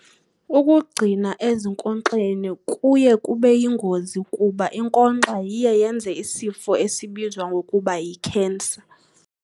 Ukugcina ezinkonkxeni kuye kube yingozi kuba inkonkxa iye yenze isifo esibizwa ngokuba yikhensa.